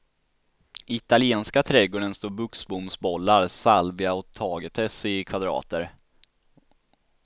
I italienska trädgården står buxbomsbollar, salvia och tagetes i kvadrater.